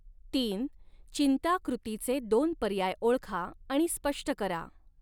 तीन चिंता कृतीचे दोन पर्याय ओळखा आणि स्पष्ट करा.